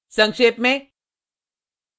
संक्षेप में